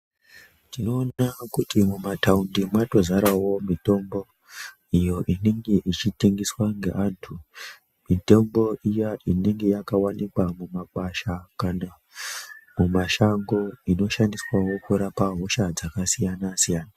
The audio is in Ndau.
Tinoona kuti mumataundi mwatozarawo mitombo iyo inenge ichitengeswa ngeantu , mitombo iya inenge yakawanikwa mumakwasha kana mumashango inoshandiswawo kurapa hosha dzakasiyana siyana.